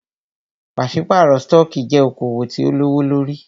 Pàṣípàrọ̀ stọọkí jẹ́ okoòwò tí o lówó lórí.